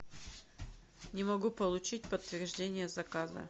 не могу получить подтверждение заказа